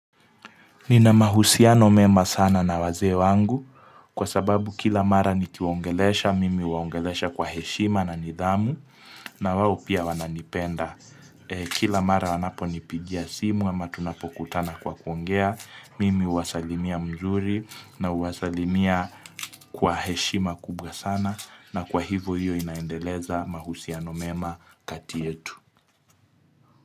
Nina mahusiano mema sana na wazee wangu kwa sababu kila mara nikiwaongelesha, mimi huwaongelesha kwa heshima na nidhamu na wawo pia wananipenda. Kila mara wanaponipigia simu ama tunapokutana kwa kuongea, mimi huwasalimia mzuri na huwasalimia kwa heshima kubwa sana na kwa hivo hiyo inaendeleza mahusiano mema kati yetu.